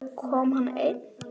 Kom hann einn?